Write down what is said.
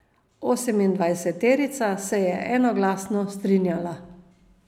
Osemindvajseterica se je enoglasno strinjala.